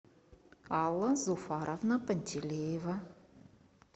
алла зуфаровна пантелеева